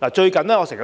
我最近經常在